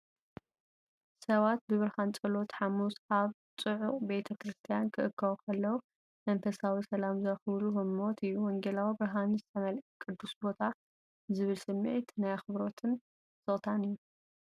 ሰባት ብብርሃን ጸሎት ሓሙስ ኣብ ጽዑቕ ቤተ ክርስቲያን ክእከቡ ከለዉ መንፈሳዊ ሰላም ዝረኽበሉ ህሞት እዩ። ወንጌላዊ ብርሃን ዝተመልአ ቅዱስ ቦታ ዝብል ስምዒት ናይ ኣኽብሮትን ስቕታን እዩ።